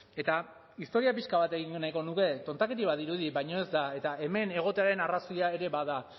eta historia pixka bat egin nahiko nuke tontakeria bat dirudi baina ez da eta hemen egotearen arrazoia ere bada